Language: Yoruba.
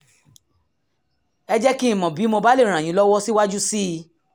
ẹ jẹ́ kí n mọ̀ bí mo bá lè ràn yín lọ́wọ́ síwájú sí i